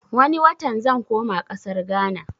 Wane watan zan koma ƙasar gana